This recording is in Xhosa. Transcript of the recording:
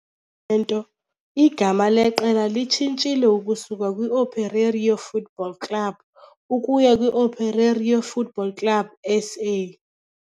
Into, igama leqela litshintshile ukusuka kwi-Operário Futebol Clube ukuya kwi-Operário Futebol Clube S - A.